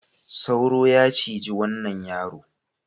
Sauro ya ciji wanai yaro.